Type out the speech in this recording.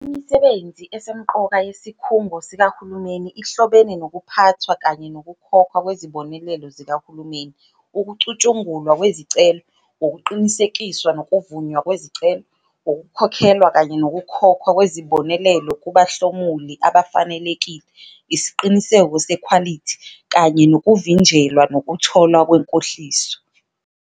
Imisebenzi esemqoka yesikhungo sikahulumeni ihlobene nokuphathwa kanye nokukhokhwa kwezibonelelo zikahulumeni- ukucutshungulwa kwezicelo, ukuqinisekiswa nokuvunywa kwezicelo, ukukhokhelwa kanye nokukhokhwa kwezibonelelo kubahlomuli abafanelekile, isiqiniseko sekhwalithi, kanye nokuvinjelwa nokutholwa kwenkohliso.